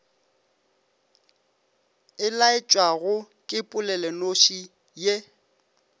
e laetšwago ke polelonoši ye